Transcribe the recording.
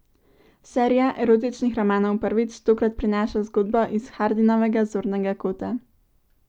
Serija erotičnih romanov Prvič tokrat prinaša zgodbo iz Hardinovega zornega kota.